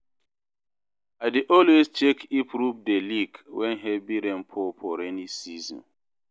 I dey always check if roof dey leak wen heavy rain pour for rainy season